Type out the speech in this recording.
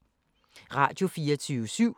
Radio24syv